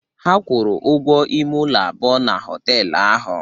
Ha kwụrụ ụgwọ ime ụlọ abụọ na họtel ahụ.